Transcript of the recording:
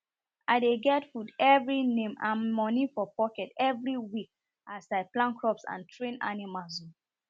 i dey get food every name and money for pocket every week as i plant crops and train animails o